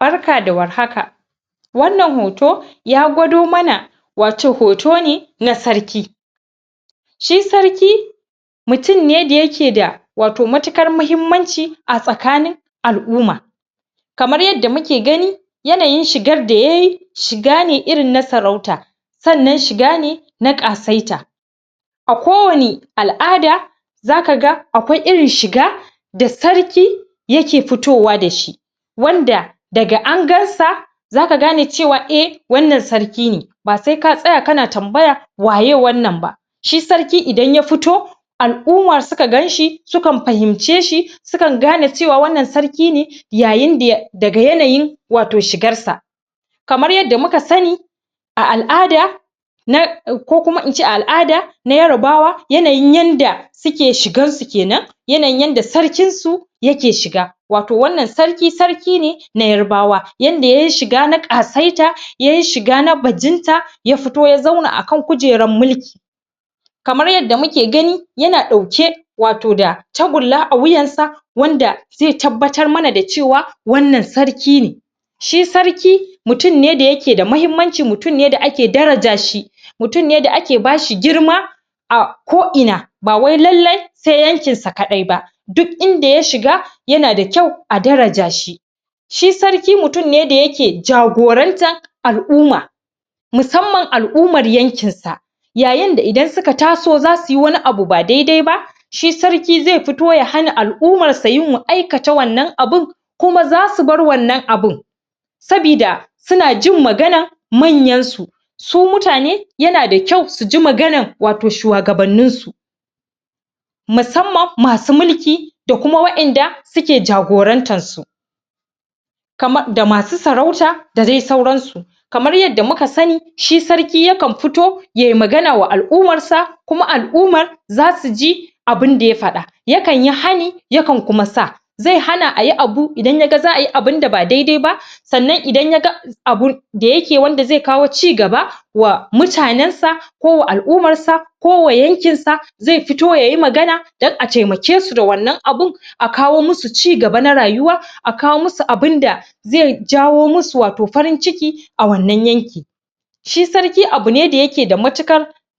barka da warhaka wannan hoto ya gwado mana wato hotone na sarki shi sarki mutum ne da yake da matukar muhimmanci a tsakanin al'umma kamar yadda muke gani yanayin shigar da yayi shigane irin na sarauta sannan shigane na kasaita a kowani al'ada zaka ga akwai irin shiga da sarki yake fitowa dashi wanda daga angansa zaka gane cewa wannan sarki ne ba sai ka tsaya kana tambaya waye wannnan ba shi sarki idan ya fito al'imma sukan fganshi sukan ahimce shi sukan gane cewa wannan sarki ne yayinda daga yanayin shigarsa kamar yadda muka sani a al'ada ko kuma ince a al'ada ya yarbawa na yanayin yadda suke shigansu kenan yanayin yadda sarkin su ya ke shiga wato wannan sarki na ya yarbawa yanda yayi shiga na ƙasaita yayi shiga na bajinta ya fito ya zauna akan kujerar mulki kamar yadda muke gani yana dauke wato tagulla a wuyansa wanda zai tabbatar mana cewa wannan sarki ne shi sarki mutum ne wanda yake muhimmanci mutum ne wanda ake daraja shi mutum ne wanda ake bashi girma a ko ina ba wai lalle sai yanki sa kadai ba duk inda tashi yana da kyau a darashi shi sarki mutum ne wanda yake gorantar al'umma musammar al'ummar yankin sa yayinda idan suka taso zasuyi wani abu da daidaiba shi sarki zai fito ya hana al'ummar sa wannan abun kuma zasu bar wannan abun sabida suna jin maganan manyansu su mutane yana da kyau suji maganar shuwagabannin su musamman masu mulki ko wadanda ke jagorantar su da masu saruta da dai sauransu kamar yadda muka sani shi sarki ya kan fito yayi magana ma al'ummar sa kuma zasu ji abunda ya fada yakanyi hani yakan muma sa zai hana ayi abu idan yaga abun da ba daidai ba sannan idan yaga abun da zai kawo cigaba wa mutanen sa ko wa al'ummar sa ko wa yankin sa zai fito yayi magana don a temakesu da wannan abun akawo musu cigaba na rayuwa akawo musu waton abunda da zai jawo musu farin ciki a wannan yanki shi sarki abune wanda ya ke da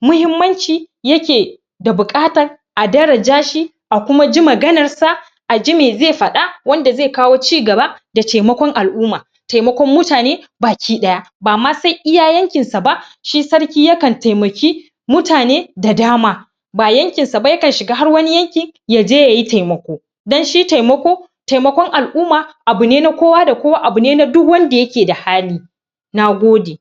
muhaimmanci yake bukatar daraja shi a kuma ji maganar sa aji mai zai fada wanda zai kawo cigaba da temakon al'umma temakon mutane baki daya ba ma sai iya yanki sa ba shi sarki yakan temaki mutane da dama ba yankin sa ba yakan shiga har wani yanki ya je yayi temako don shi temako temakon al'umman abune na kowa da kowa abune na wanda yake da hali nagode